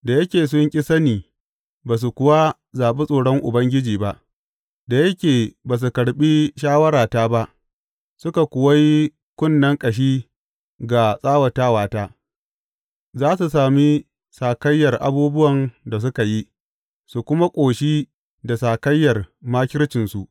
Da yake sun ƙi sani ba su kuwa zaɓi tsoron Ubangiji ba, da yake ba su karɓi shawarata ba suka kuwa yi kunnen ƙashi ga tsawatata, za su sami sakayyar abubuwan da suka yi su kuma ƙoshi da sakayyar makircinsu.